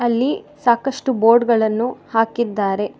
ಇಲ್ಲಿ ಸಾಕಷ್ಟು ಬೋರ್ಡ್ ಗಳನ್ನು ಹಾಕಿದ್ದಾರೆ.